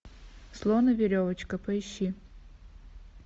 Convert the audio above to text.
слон и веревочка поищи